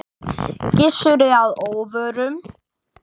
Gissuri að óvörum.